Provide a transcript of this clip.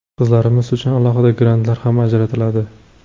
Qizlarimiz uchun alohida grantlar ham ajratiladi.